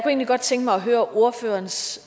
egentlig godt tænke mig at høre ordførerens